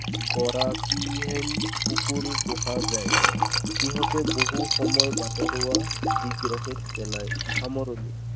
গৰাকীহীন কুকুৰো পোহা যায়। সিহঁতে বহু সময়ত বাটৰুৱাক দিগদাৰিত পেলায়। সামৰণি।